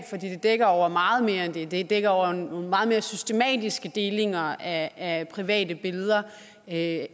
dækker over meget mere end det det dækker over nogle meget mere systematiske delinger af af private billeder af